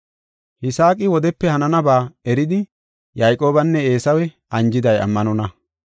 Yisaaqi wodepe hananaba eridi Yayqoobanne Eesawe anjiday ammanonna.